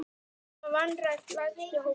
Menn hafa vanrækt lægstu hópana.